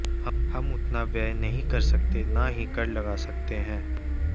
हम उतना व्यय नहीं कर सकते न ही कर लगा सकते हैं